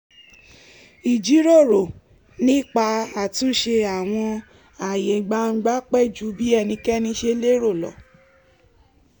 ìjíròrò nípa àtúnṣe àwọn ààyè gbangba pẹ́ ju bí ẹnikẹni ṣe lérò lọ